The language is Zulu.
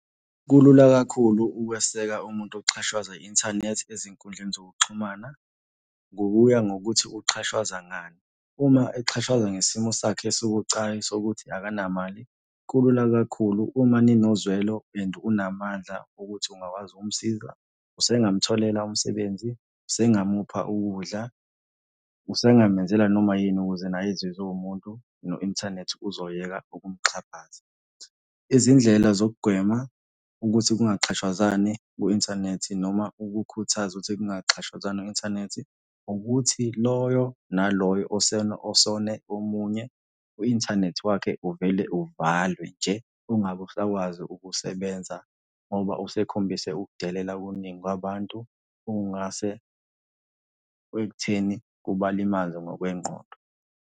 Kulula kakhulu ukweseka umuntu oxhashwazwa i-inthanethi ezinkundleni zokuxhumana ngokuya ngokuthi uxhashazwa ngani. Uma exhashazwa ngesimo sakhe esibucayi sokuthi akanamali, kulula kakhulu uma ninozwelo and unamandla ukuthi ungakwazi ukumsiza, usengamutholela umsebenzi, usengamupha ukudla, usengamenzela noma yini ukuze naye azizwe ewumuntu, ne-inthanethi uzoyeka ukuyixhaphaza. Izindlela zokugwema ukuthi kungaxhashwazwani ku-inthanethi noma ukukhuthaza ukuthi kungaxhashwazwani kwi-inthanethi, ukuthi loyo naloyo osone omunye, u-inthanethi wakhe uvele uvalwe nje, ungabe usakwazi ukusebenza, ngoba usekhombise ukudelela okuningi kwabantu okungase ekutheni kubalimaze ngokwengqondo.